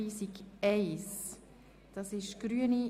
Sie haben den Antrag auf Rückweisung abgelehnt.